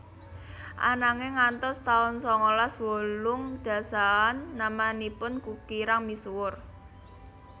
Ananging ngantos taun sangalas wolung dasaan namanipun kirang misuwur